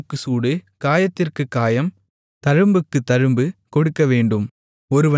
சூட்டுக்குச் சூடு காயத்திற்குக் காயம் தழும்புக்குத் தழும்பு கொடுக்கவேண்டும்